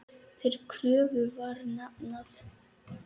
Þeirri kröfu var hafnað.